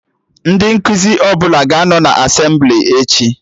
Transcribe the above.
Ndị nkụzi ọbụla ga-anọ na Asemblị echi